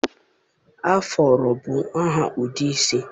Afuro bụ aha ụdị isi.